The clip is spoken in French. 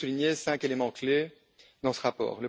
Je voudrais souligner cinq éléments clés dans ce rapport.